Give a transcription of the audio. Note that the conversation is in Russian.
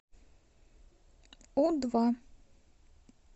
у два